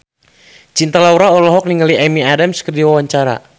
Cinta Laura olohok ningali Amy Adams keur diwawancara